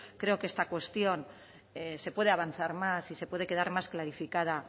creo que en esta cuestión se puede avanzar más y se puede quedar más clarificada